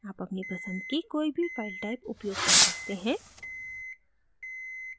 आप अपनी पसंद की कोई भी file type उपयोग कर सकते हैं